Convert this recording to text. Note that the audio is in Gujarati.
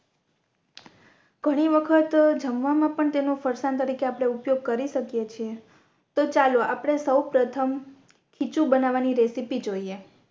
ઘણી વખત જમવામાં પણ તેનો ફરસાણ તરીકે આપણે ઉપયોગ કરી શકીએ છે તો ચાલો આપણે સૌ પ્રથમ ખીચું બનાવાની રેસીપી જોઇયે